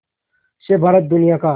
से भारत दुनिया का